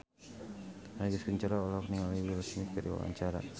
Agus Kuncoro olohok ningali Will Smith keur diwawancara